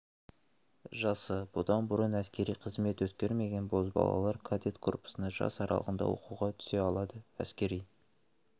жасы бұдан бұрын әскери қызмет өткермеген бозбалалар кадет корпусына жас аралығында оқуға түсе алады әскери